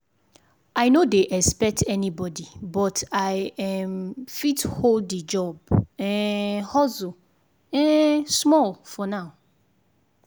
i no dey expect anybody but i um fit hold the job um hustle um small for now.